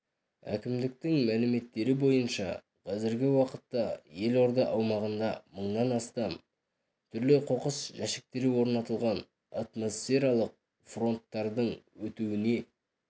әкімдіктің мәліметтері бойынша қазіргі уақытта елорда аумағында мыңнан астам түрлі қоқыс жәшіктері орнатылған атмосфералық фронттардың өтуіне